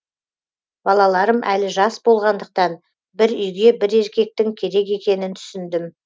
балаларым әлі жас болғандықтан бір үйге бір еркектің керек екенін түсіндім